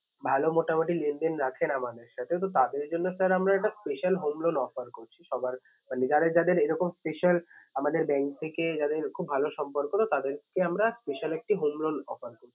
ভালো মোটামুটি লেনদেন রাখেন আমাদের সাথে তো তাদের জন্য sir আমরা একটা special home loan offer করছি সবার মানে যাদের যাদের এরকম special আমাদের bank থেকে যাদের খুব ভালো সম্পর্ক তো তাদেরকে আমরা special একটি home loan offer করছি।